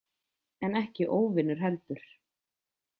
En ekki óvinur heldur.